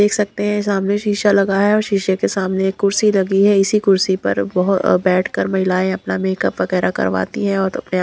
देख सकते हैं सामने शीशा लगा है और शीशे के सामने एक कुर्सी लगी है इसी कुर्सी पर बहुत बैठकर महिलाएं अपना मेकअप वगैरह करवाती हैं और अपने--